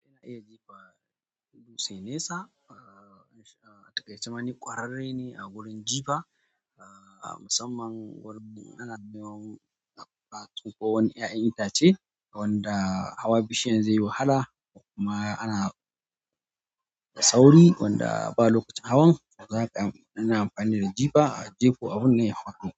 Iya jefa dutse nesa, ah takaice ma ni ƙwararre ne a gurin jifa, ah musamman wurin ana nema a tsinko wani ƴaƴan itace wanda hawa bishiyan zai yi wahala kuma ana da sauri wanda ba lokacin hawan to zaka na amfani da jifa a jefa abun nan ya faɗo.